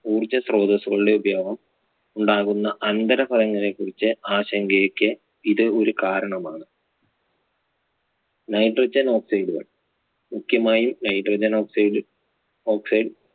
ഊർജ്ജസ്രോതസ്സുകളുടെ ഉപയോഗം ഉണ്ടാകുന്ന അനന്തരഫലങ്ങളെ കുറിച്ച് ആശങ്കയ്ക്ക് ഇത് ഒരു കാരണമാണ്. Nitrogen oxide കൾ മുഖ്യമായും Nitrogen oxide oxide